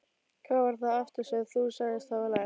Hvað var það aftur sem þú sagðist hafa lært?